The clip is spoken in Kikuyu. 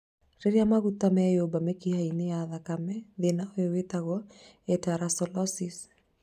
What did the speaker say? Rĩrĩa maguta meyũmba mĩkiha-inĩ ya thakame, thĩna ũyũ wĩtagwo aterosclerosis